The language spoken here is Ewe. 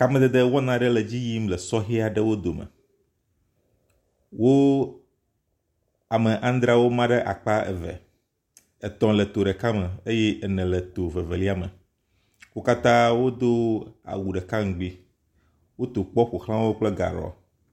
Kamedede wɔna ɖe le edzi yim le sɔhɛ aɖewo dome. Wo ame adreawo ma ɖe akpa eve. Etɔ̃ le to ɖeka me eye ene le eto ɖeka me. Wo katã wodo awu ɖeka ŋgbi woto kpɔ ƒoxlawo kple gaɖɔ.